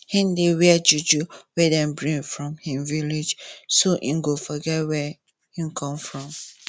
him dey wear juju wey dem bring from him village so him go forget wia him come from